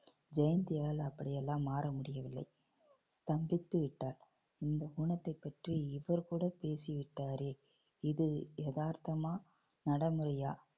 ஜெயந்தியால் அப்படி எல்லாம் மாற முடியவில்லை ஸ்தம்பித்து விட்டார் இந்த ஊனத்தை பற்றி இவர் கூட பேசிவிட்டாரே இது யதார்த்தமா நடைமுறையா